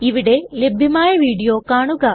ഇവിടെ ലഭ്യമായ വീഡിയോ കാണുക